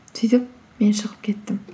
сөйтіп мен шығып кеттім